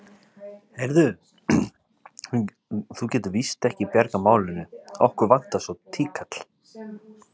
Heyrðu. þú getur víst ekki bjargað málinu. okkur vantar svo tíkall.